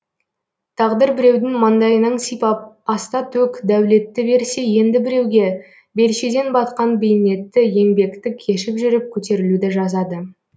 тағдыр біреудің маңдайынан сипап аста төк дәулетті берсе енді біреуге белшеден батқан бейнетті еңбекті кешіп жүріп көтерілуді жазады